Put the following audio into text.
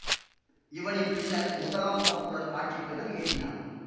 இவனின் பின்னர் முதலாம் தப்புலன் ஆட்சி பீடம் ஏறினான்